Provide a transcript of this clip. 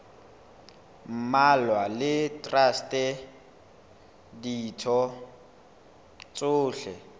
mmalwa le traste ditho tsohle